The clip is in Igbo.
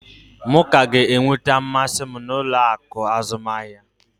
M ka ga-enweta mmasị m n'ụlọ akụ azụmahịa.